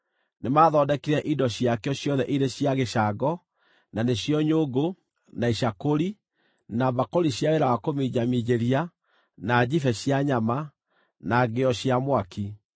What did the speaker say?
Nĩmathondekire indo ciakĩo ciothe irĩ cia gĩcango; na nĩcio nyũngũ, na icakũri, na mbakũri cia wĩra wa kũminjaminjĩria, na njibe cia nyama, na ngĩo cia mwaki.